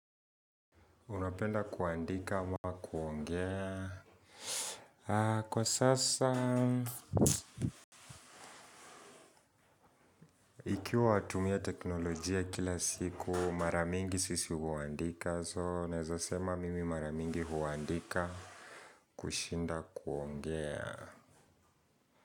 Unapenda kuandika ama kuongea? Kwa sasa nikiwa natumia teknolojia kila siku mara mingi sisi huandika, so nawezasema mimi mara mingi huandika kushinda kuongea.